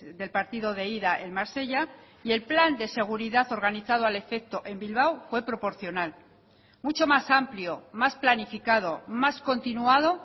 del partido de ida en marsella y el plan de seguridad organizado al efecto en bilbao fue proporcional mucho más amplio más planificado más continuado